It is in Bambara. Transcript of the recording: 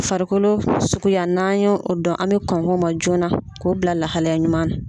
Farikolo suguya n'an y'o o dɔn an bɛ kɔn k'o ma joona k'o bila lahalaya ɲuman na.